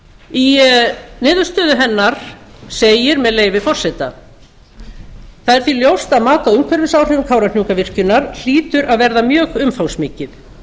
í niðurstöðu hennar segir með leyfi forseta það er því ljóst að mat á umhverfisáhrifum kárahnjúkavirkjunar hlýtur að verða mjög umfangsmikið